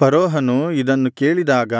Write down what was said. ಫರೋಹನು ಇದನ್ನು ಕೇಳಿದಾಗ